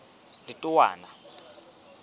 letowana